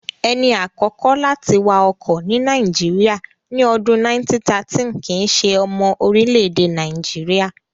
Ẹni àkọ́kọ́ láti wa ọkọ̀ ní Nàìjíríyà, ní ọdún 1913 kìíse ọmọ orílẹ̀-èdè Nàìjíríyà